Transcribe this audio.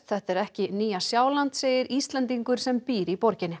þetta er ekki Nýja Sjáland segir Íslendingur sem býr í borginni